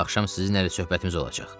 Axşam sizinlə söhbətimiz olacaq.